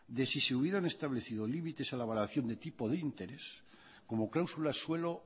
de si se hubieran establecido límites a la elaboración de tipo de interés como cláusulas suelo